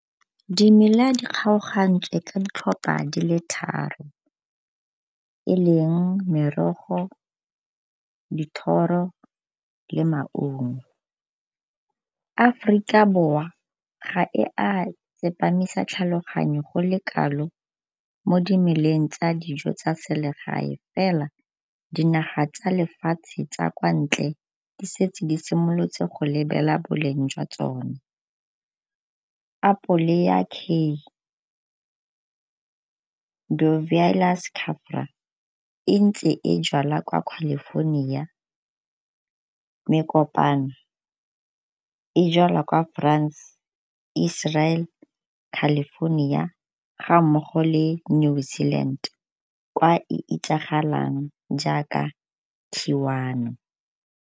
Dimela di kgaogantswe ka ditlhopha di le tharo e leng merogo, dithoro, le maungo. Aforika Borwa ga e a tsepamisa tlhaloganyo go le kalo mo dimeleng tsa dijo tsa selegae fela dinaga tsa lefatshe tsa kwa ntle di setse di simolotse go boleng jwa tsone. Apole ya e ntse e jalwa kwa California. Mekopano e jalwa kwa France, Israel, California ga mmogo le New Zealand kwa e itsagalang jaaka .